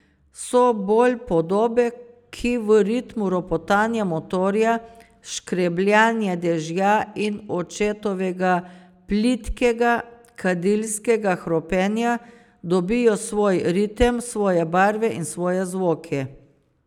So bolj podobe, ki v ritmu ropotanja motorja, škrebljanja dežja in očetovega plitkega, kadilskega hropenja, dobijo svoj ritem, svoje barve in svoje zvoke.